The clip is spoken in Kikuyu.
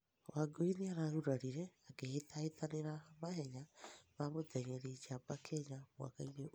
Wangui nĩaragũrarĩre akĩhĩtahĩtanĩra mahenya ma mũteng'erĩ njamba, Kenya, mwaka ũyũ